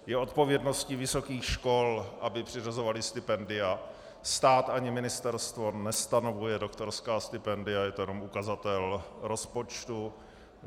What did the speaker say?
Je odpovědností vysokých škol, aby přiřazovaly stipendia, stát ani ministerstvo nestanovuje doktorská stipendia, je to jenom ukazatel rozpočtu.